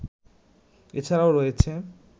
এছাড়াও রয়েছে